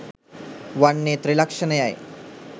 වන්නේ ත්‍රිලක්ෂණයයි.